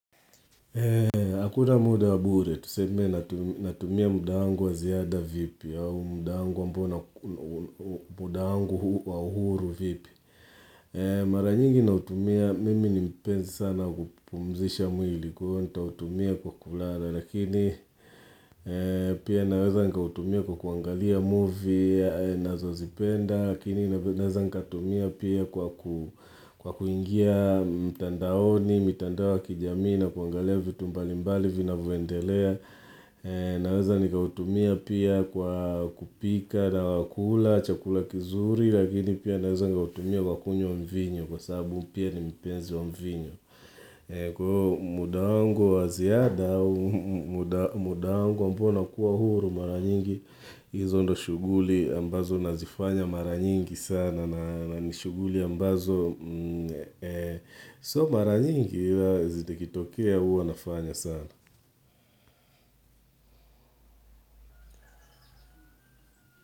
Hakuna muda wa bure, tuseme natumia muda wangu wa ziada vipi au muda wangu muda wangu huu wa uhuru vipi Mara nyingi nautumia, mimi ni mpenzi sana wa kupumzisha mwili kwa hiyo nitautumia kwa kulala Lakini pia naweza nikautumia kwa kuangalia movie ninazozipenda Lakini naweza nikatumia pia kwa kuingia mtandaoni mitandao ya kijamii na kuangalia vitu mbalimbali vinavyondelea naweza nikautumia pia kwa kupika na wa kula chakula kizuri lakini pia naweza nikautumia kwa kunywa mvinyo kwa sababu pia ni mpenzi mvinyo kwa hiyo muda wangu wa ziada muda wangu ambao nakuwa huru mara nyingi hizo ndio shughuli ambazo nazifanya mara nyingi sana na ni shughuli ambazo So mara nyingi Zikitokea huwa nafanya sana.